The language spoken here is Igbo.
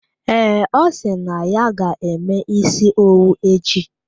Ee, osi na ya ga-eme isi owu echi.